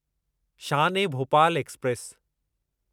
Shaan e Bhopal express